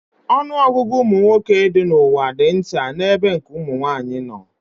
Ọnụọgụgụ ụmụ nwoke dị n'ụwa dị nta n'ebe nke ụmụ nwaanyị nọ